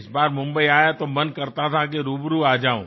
इस बार मुंबई आया तो मन करता था कि रूबरू आ जाऊं